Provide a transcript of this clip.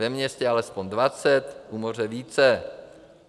Ve městě alespoň 20, u moře více.